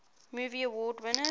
movie award winners